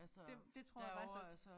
Det det tror jeg faktisk er